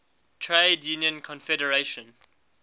trade union confederation